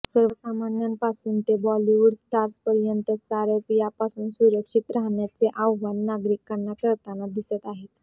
सर्वसामांन्यांपासून ते बॉलिवूड स्टार्सपर्यंत सारेच यापासून सुरक्षित राहण्याचे आवाहन नागरिकांना करताना दिसत आहेत